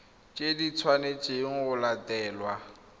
tse di tshwanetsweng go latelwa